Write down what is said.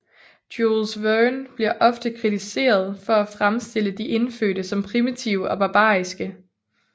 Jules Verne bliver ofte kritiseret for at fremstille de indfødte som primitive og barbariske